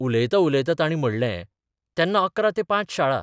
उलयतां उलयतां तांणी म्हणलेंः 'तेन्ना 11 ते 5 शाळा.